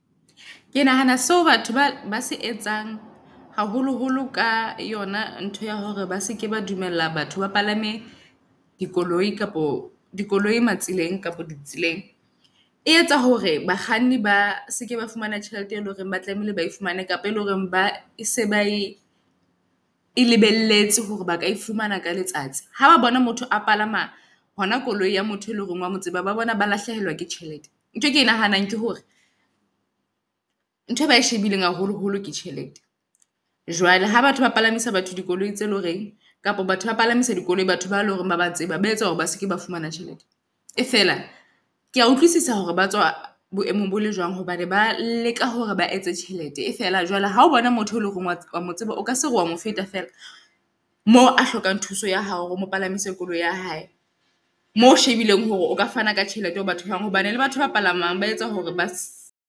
Ke nahana seo batho ba ba se etsang, haholo-holo ka yona ntho ya hore ba seke ba dumella batho ba palame dikoloi kapo dikoloi matseleng kapo ditseleng. E etsa hore bakganni ba seke ba fumana tjhelete e leng hore ba tlamehile ba e fumane kapo, e leng hore ba e se ba e e lebelletse hore ba ka e fumana ka letsatsi. Haba bona motho a palama hona koloi ya motho e leng hore wa motseba. Ba bona ba lahlehelwa ke tjhelete. Ntho e ke e nahanang ke hore ntho e ba e shebileng haholo holo ke tjhelete. Jwale ha batho ba palamisa batho dikoloi tse leng horeng kapa batho ba palamisa dikoloi, batho ba leng hore ba ba tseba ba etsa hore ba seke ba fumana tjhelete. E fela ke a utlwisisa hore ba tswa boemong bo le jwang hobane ba leka hore ba etse tjhelete. E fela jwale ha o bona motho e leng hore oa motseba, o ka se re wa mo feta fela mo a hlokang thuso ya hao. Hore o mo palamise koloi ya hae. Moo shebileng hore o ka fana ka tjhelete hore batho bao, hobane le batho ba palamang ba etsa hore ba se.